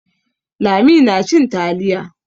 Lami nacin taliya.